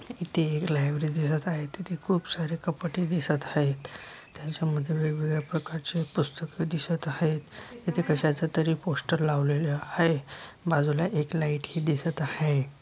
इथे एक लाइब्रेरी दिसत आहेत तिथे खुप सारे कपाटे दिसत हायेत त्याच्यामधे वेगवेगळ्या प्रकारचे पुस्तके दिसत हायेत तिथे कशाचा तरी पोस्टर लावलेल हाय बाजूला एक लाइट ही दिसत आहे.